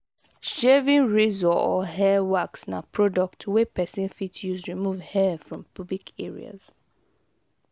shaving razor or hair wax na product wey persin fit use remove hair from pubic areas